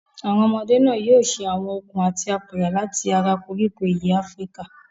Àwọn ọmọdé náà yóò ṣe àwọn okùn àti apẹ̀rẹ̀ láti ara koríko ìyẹ́ Áfíríkà.